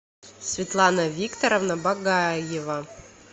светлана викторовна багаева